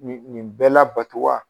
Nin nin bɛɛ labato wa?